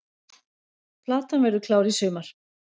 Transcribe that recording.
Platan verður klár í sumar